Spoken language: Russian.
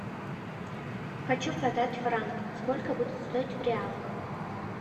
хочу продать франк сколько будет стоить в реалах